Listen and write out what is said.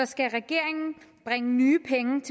skal regeringen bringe nye penge